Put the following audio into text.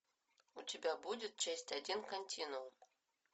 у тебя будет часть один континуум